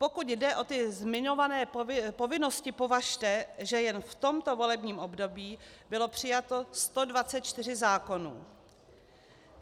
Pokud jde o ty zmiňované povinnosti, považte, že jen v tomto volebním období bylo přijato 124 zákonů.